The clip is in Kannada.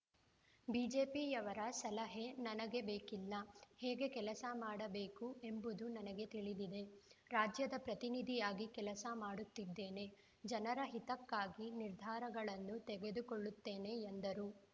ಬಿಜೆಪಿಯವರ ಸಲಹೆ ನನಗೆ ಬೇಕಿಲ್ಲ ಹೇಗೆ ಕೆಲಸ ಮಾಡಬೇಕು ಎಂಬುದು ನನಗೆ ತಿಳಿದಿದೆ ರಾಜ್ಯದ ಪ್ರತಿನಿಧಿಯಾಗಿ ಕೆಲಸ ಮಾಡುತ್ತಿದ್ದೇನೆ ಜನರ ಹಿತಕ್ಕಾಗಿ ನಿರ್ಧಾರಗಳನ್ನು ತೆಗೆದುಕೊಳ್ಳುತ್ತೇನೆ ಎಂದರು